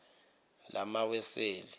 lamaweseli